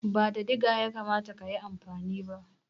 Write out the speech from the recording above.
Ba da diga ya kamata ka yi amfani ba?